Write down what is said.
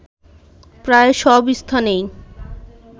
প্রায় সব স্থানেই